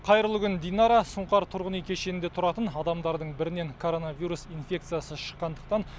қайырлы күн динара сұңқар тұрғын үй кешенінде тұратын адамдардың бірінен коронавирус инфекциясы шыққандықтан